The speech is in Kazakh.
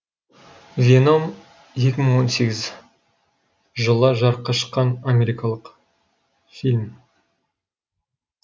веном екі мың он сегіз жылы жарыққа шыққан америкалық фильм